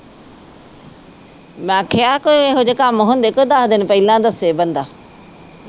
ਮੈ ਕਿਹਾ ਕੋਈ ਇਹੋ ਜਿਹੇ ਕੰਮ ਹੁੰਦੇ ਕੋਈ ਦਸ ਦਿਨ ਪਹਿਲਾ ਦਸੇ ਬੰਦਾ